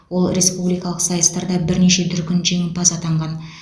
ол республикалық сайыстарда бірнеше дүркін жеңімпаз атанған